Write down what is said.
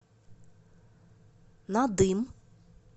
надым